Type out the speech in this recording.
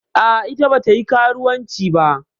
A'a, ita bata yi karuwanci ba.